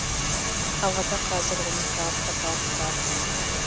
қалада қазір он екі автопарк бар